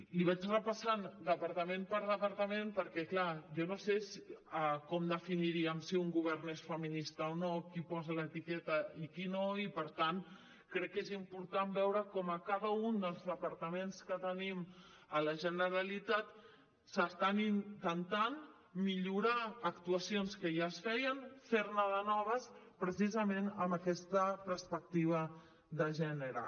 li vaig repassant departament per departament perquè clar jo no sé com definiríem si un govern és feminista o no qui posa l’etiqueta i qui no i per tant crec que és important veure com a cada un dels departament que tenim a la generalitat s’està intentant millorar actuacions que ja es feien fer ne de noves precisament amb aquesta perspectiva de gènere